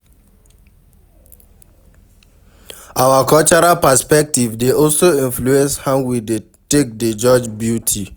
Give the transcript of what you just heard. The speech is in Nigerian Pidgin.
Our cultural perspective dey also influence how we take dey judge beauty